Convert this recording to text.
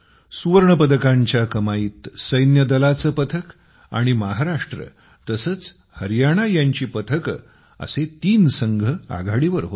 सुवर्णपदकांच्या कमाईत सर्विसेसचे पथक आणि महाराष्ट्र तसेच हरियाणा यांची पथके असे तीन संघ आघाडीवर होते